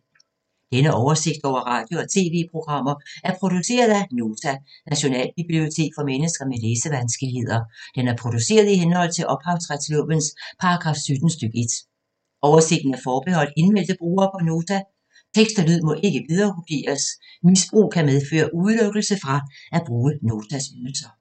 Denne oversigt over radio og TV-programmer er produceret af Nota, Nationalbibliotek for mennesker med læsevanskeligheder. Den er produceret i henhold til ophavsretslovens paragraf 17 stk. 1. Oversigten er forbeholdt indmeldte brugere på Nota. Tekst og lyd må ikke viderekopieres. Misbrug kan medføre udelukkelse fra at bruge Notas ydelser.